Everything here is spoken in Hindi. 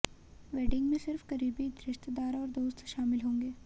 वेडिंग में सिर्फ करीबी रिश्तेदार और दोस्त शामिल होंगे